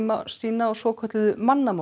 sína á svokölluðu